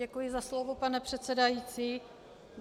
Děkuji za slovo, pane předsedající.